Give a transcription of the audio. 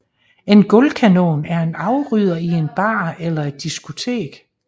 En gulvkanon er en afrydder i en bar eller et diskotek